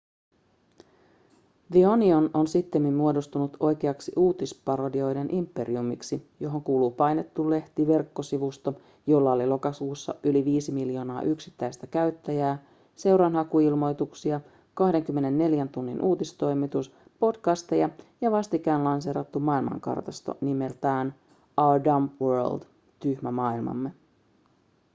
the onion on sittemmin muodostunut oikeaksi uutisparodioiden imperiumiksi johon kuuluu painettu lehti verkkosivusto jolla oli lokakuussa yli 5 miljoonaa yksittäistä käyttäjää seuranhakuilmoituksia 24 tunnin uutistoimitus podcasteja ja vastikään lanseerattu maailmankartasto nimeltä our dumb world tyhmä maailmamme